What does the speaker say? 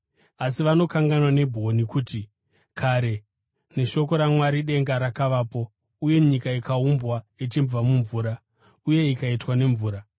Asi vanokanganwa nobwoni kuti kare neshoko raMwari denga rakavapo uye nyika ikaumbwa ichibva mumvura uye ikaitwa nemvura.